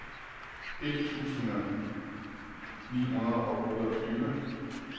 et tusind ni hundrede og otteogtyve